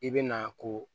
I bɛ na ko